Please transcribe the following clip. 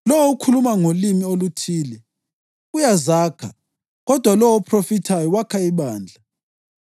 Lowo okhuluma ngolimi oluthile uyazakha kodwa lowo ophrofithayo wakha ibandla.